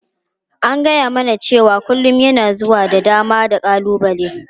An gaya mana cewa kullun yana zuwa da dama da ƙalubale.